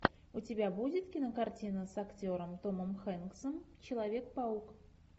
у тебя будет кинокартина с актером томом хэнксом человек паук